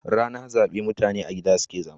Rana zabe mutane a gida suke zama.